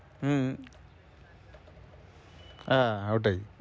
হম আহ ওটাই